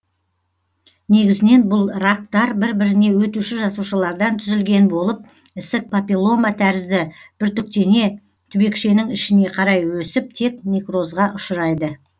негізінен бұл рактар бір біріне өтуші жасушалардан түзілген болып ісік папиллома тәрізді бүртіктене түбекшенің ішіне қарай өсіп тез некрозға ұшырайды